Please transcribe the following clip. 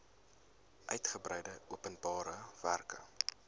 uitgebreide openbare werke